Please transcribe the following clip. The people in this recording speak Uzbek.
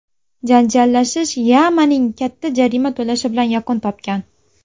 Janjallashish Yamanning katta jarima to‘lashi bilan yakun topgan.